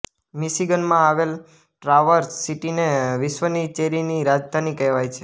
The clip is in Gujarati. મિશિગનમાં આવેલ ટ્રાવર્સ સીટીને વિશ્વની ચેરીની રાજધાની કહેવાય છે